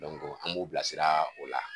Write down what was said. an b'u bilasiraa o la